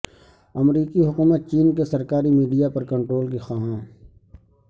امریکی حکومت چین کے سرکاری میڈیا پر کنٹرول کی خواہاں